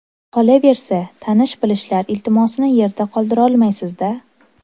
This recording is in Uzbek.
Qolaversa, tanish-bilishlar iltimosini yerda qoldirolmaysiz-da.